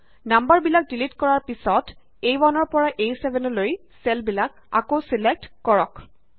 number বিলাক delete কৰাৰ পিছত আ1 পৰা A7 লৈ চেলবিলাক আকৌ ছিলেক্ট কৰক